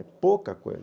É pouca coisa.